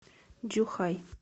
чжухай